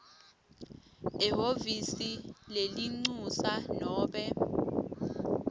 ehhovisi lelincusa nobe